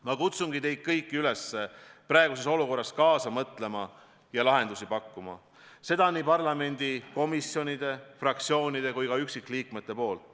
Ma kutsun teid kõiki üles praeguses olukorras kaasa mõtlema ja lahendusi pakkuma – pean silmas nii kogu parlamenti kui ka komisjone, fraktsioone ja üksikliikmeid.